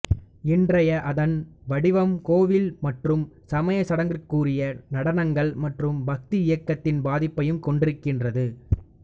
இன்றைய அதன் வடிவம் கோவில் மற்றும் சமயச் சடங்குக்குரிய நடனங்கள் மற்றும் பக்தி இயக்கத்தின் பாதிப்பையும் கொண்டிருக்கிறது